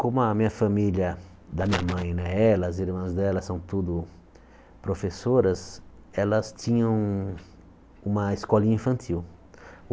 Como a minha família, da minha mãe né, elas, irmãs delas, são tudo professoras, elas tinham um uma escolinha infantil.